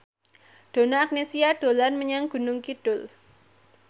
Donna Agnesia dolan menyang Gunung Kidul